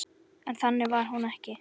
En þannig var hún ekki.